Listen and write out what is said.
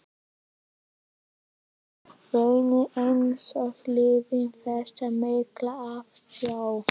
einsog vonin, einsog lífið- þessi mikla eftirsjá.